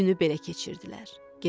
O günü belə keçirdilər.